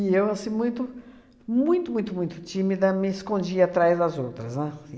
eu, assim, muito, muito, muito, muito tímida, me escondia atrás das outras, né?